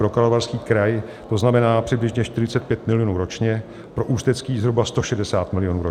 Pro Karlovarský kraj to znamená přibližně 45 milionů ročně, pro Ústecký zhruba 160 milionů ročně.